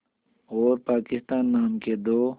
और पाकिस्तान नाम के दो